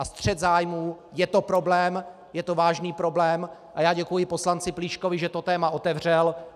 A střet zájmů - je to problém, je to vážný problém a já děkuji poslanci Plíškovi, že to téma otevřel.